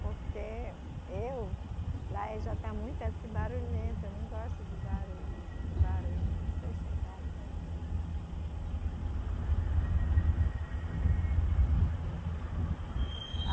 Porque eu. Lá é já está muito assim barulhento, eu não gosto de barulho, muito barulho, não sou chegada. Por que saíram da casa na, no sítio e foram para o centro? Por que que a su, a sua família saiu do, do. Ah